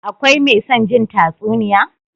Akwai me son jin tatsuniya?